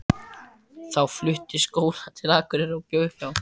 Þá flutti Sóla til Akureyrar og bjó hjá